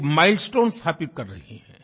एक माइलस्टोन स्थापित कर रही है